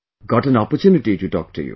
Got an opportunity to talk to you